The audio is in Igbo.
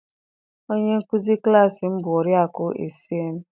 Onye nkuzi klassị m bụ Oriakụ Essịen